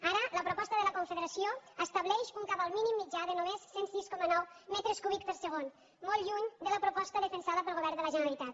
ara la proposta de la confederació estableix un cabal mínim mitjà de només cent i sis coma nou metres cúbics per segon molt lluny de la proposta defensada pel govern de la generalitat